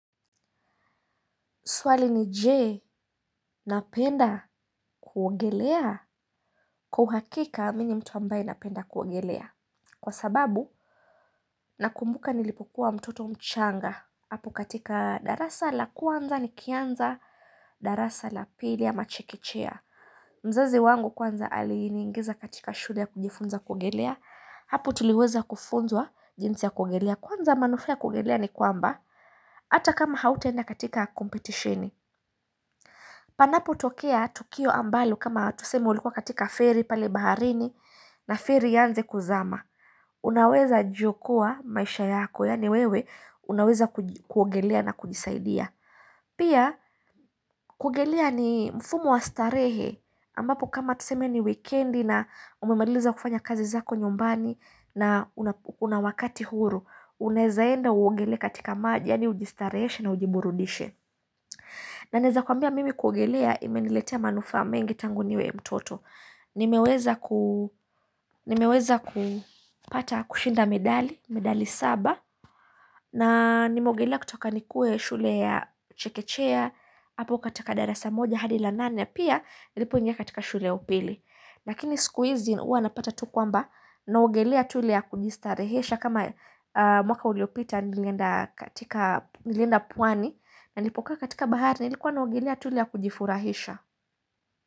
Swali ni jee, napenda? Kuogelea? Kwa uhakika mimi ni mtu ambaye napenda kuogelea Kwa sababu Nakumbuka nilipokuwa mtoto mchanga Hapo katika darasa la kwanza nikianza darasa la pili ya machekechea mzazi wangu kwanza aliniingiza katika shule ya kujifunza kuogelea Hapo tuliweza kufunzwa jinsi ya kuogelea Kwanza manufaa ya kuongelea ni kwamba Hata kama hautaenda katika kompetisheni Panapotokea tukio ambalo kama tuseme ulikuwa katika ferry pale baharini na ferry ianze kuzama. Unaweza jiokoa maisha yako yaani wewe unaweza kuj kuogelea na kujisaidia. Pia kuogelea ni mfumo wa starehe ambapo kama tuseme ni wikendi na umemaliza kufanya kazi zako nyumbani na una una wakati huru. Unaezaenda uogelee katika maji yani ujistareheshe na ujiburudishe. Na naeza kuambia mimi kuogelea imeniletea manufaa mengi tangu niwe mtoto. Nimeweza ku Nimeweza kupata kushinda medali, medali saba, na nimeogelea kutoka nikuwe shule ya Chekechea, hapo kataka darasa moja hadi la nane, na pia nilipoingia katika shule ya upili. Lakini siku hizi huwa napata tu kwamba naogelea tu ile ya kujistarehesha kama mwaka uliopita nilienda katika nilenda pwani na nilipokaa katika bahari nilikuwa na ogelea tu ile ya kujifurahisha.